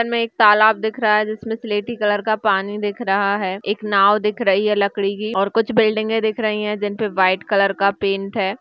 हमें एक तालाब दिख रहा है जिसमें सिलेटी कलर का पानी दिख रहा है। एक नाव दिख रही है लकड़ी की और कुछ बिल्डिंगें दिख रही हैं। जिन पर वाइट कलर का पेंट है।